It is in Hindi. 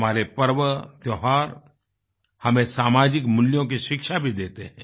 हमारे पर्व त्योहार हमें सामाजिक मूल्यों की शिक्षा भी देते हैं